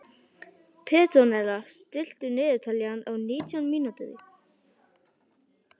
Petrónella, stilltu niðurteljara á nítján mínútur.